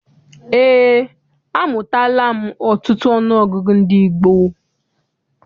Eé, amụtala m ọtụtụ ọnụọgụgụ ndị gboo.